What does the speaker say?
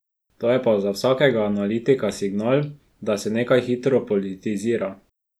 To je pa za vsakega analitika signal, da se nekaj hitro politizira.